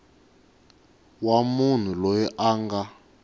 wa munhu loyi a nga